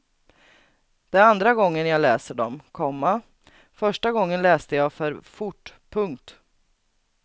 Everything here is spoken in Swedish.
Det är andra gången jag läser dem, komma första gången läste jag för fort. punkt